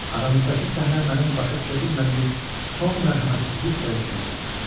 Aramızdakı səhnə mənim başa düşə bilmədiyim son mərhəmətsizlik dərəcəsinə çatmışdı.